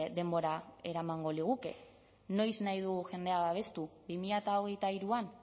denbora eramango liguke noiz nahi dugu jendea babestu bi mila hogeita hiruan